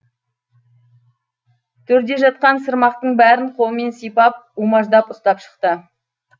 төрде жатқан сырмақтың бәрін қолымен сипап умаждап ұстап шықты